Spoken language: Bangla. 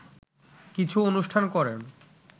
কিছু অনুষ্ঠান করেন